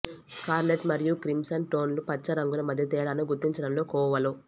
scarlet మరియు crimson టోన్లు పచ్చ రంగుల మధ్య తేడాను గుర్తించడంలో కోవలో